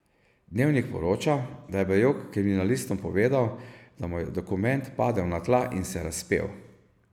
Dnevnik poroča, da je Bajuk kriminalistom povedal, da mu je dokument padel na tla in se razpel.